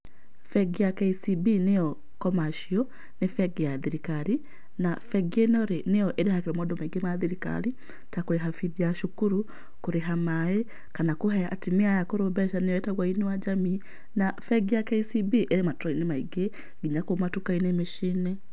Bengi ya KCB nĩyo commercial, nĩ bengi ya thirikari na bengi ĩno rĩ, nĩyo ĩrĩhagĩrwo maũndũ maingĩ ma thirikari, ta kũrĩha bithi ya cukuru, kũrĩha maĩ, kana kũhe atumia aya akũrũ mbeca nĩyo ĩtagwo Inua Jamii, na bengi ya KCB ĩ matũra-inĩ maingĩ nginya kũu matuka-inĩ mĩciĩ-inĩ.